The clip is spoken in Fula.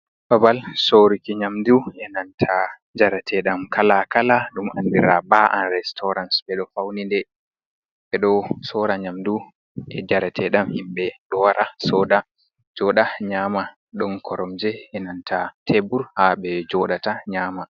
Babal soruki nyamdu e nanta njarete dam kala-kala dum andira baa'a restaurans. Ɓe do fauni dum ɓe ɗo sora nyamdu e jaratedam. Himɓe dowra joda nyama, ɗon koromje yananta tebbur ha be jodata nyama.